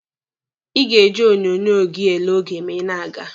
Ị ga-eji onyonyo gi ele oge ma ị na-aga.